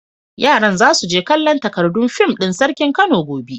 Yaran za su je kallon takardun fim din Sarkin Kano gobe.